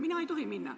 Mina ei tohi minna.